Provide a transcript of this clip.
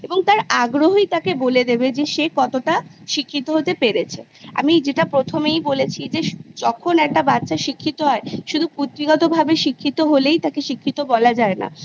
এবং তার আগ্রহই তাকে বলে দেবে যে সে কতটা শিক্ষিত হতে পেরেছে আমি যেটা প্রথমেই বলেছি যে যখন একটা বাচ্ছা শিক্ষিত হয় শুধু পুঁথিগতভাবেই শিক্ষিত হলে তাকে শিক্ষিত বলা যায় না